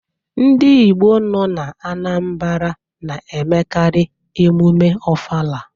Ndị Igbo nọ n'Anambra na-emekarị emume Ofala.